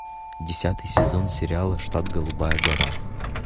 десятый сезон сериала штат голубая гора